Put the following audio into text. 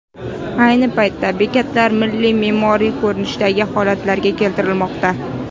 Ayni paytda bekatlar milliy me’moriy ko‘rinishdagi holatga keltirilmoqda.